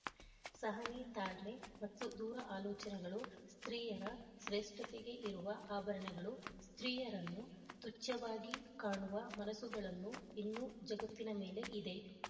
ಸಹನೆ ತಾಳ್ಮೆ ಮತ್ತು ದೂರ ಆಲೋಚನೆಗಳು ಸ್ತ್ರೀಯರ ಶ್ರೇಷ್ಠತೆಗೆ ಇರುವ ಆಭರಣಗಳು ಸ್ತ್ರೀಯರನ್ನು ತುಚ್ಯವಾಗಿ ಕಾಣುವ ಮನಸುಗಳನ್ನು ಇನ್ನೂ ಜಗತ್ತಿನ ಮೇಲೆ ಇದೆ